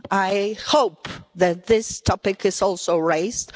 I hope that this topic is also raised.